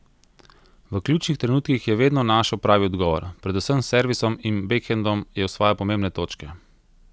V ključnih trenutkih je vedno našel pravi odgovor, predvsem s servisom in bekhendom je osvajal pomembne točke.